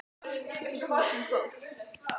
Íslensk orðsifjabók.